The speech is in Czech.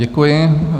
Děkuji.